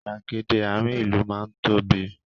Gbàgede àárín ìlú má ń tóbi